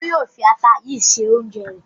Olú yóò fi ata yìí se oúnjẹ rẹ̀.